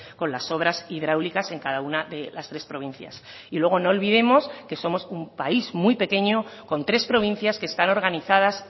con las obras hidráulicas en cada una de las tres provincias y luego no olvidemos que somos un país muy pequeño con tres provincias que están organizadas